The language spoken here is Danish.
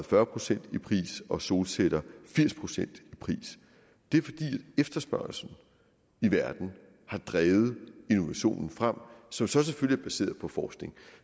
fyrre procent i pris og solceller firs procent i pris det er fordi efterspørgslen i verden har drevet innovationen frem som så selvfølgelig er baseret på forskning